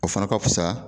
O fana ka fisa